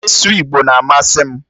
Ịsụ Igbo na-amasị m